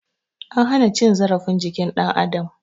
An hana cin zarafin jikin dan adam